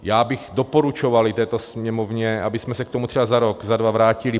Já bych doporučoval této Sněmovně, abychom se k tomu třeba za rok, za dva vrátili.